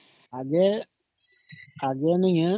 ଆଗେ ଦୁନିଆ ମାନେ